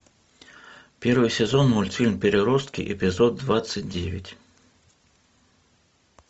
первый сезон мультфильм переростки эпизод двадцать девять